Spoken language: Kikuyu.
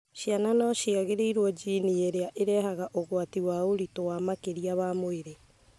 Ciana no cigaĩrwo jini ĩrĩa irehaga ũgwati wa ũritũ wa makĩria wa mwĩrĩ,